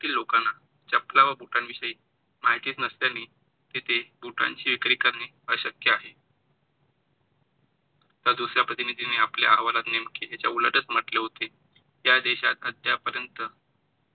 लोकांना चप्पला व बुटां विषयी माहिती नसल्याने तिथे बुटांची विक्री करणे अशक्य आहे. तर दुसऱ्या प्रतिनिधीने आपल्या हवालात मांडले होते की ज्या देशात आता पर्यंत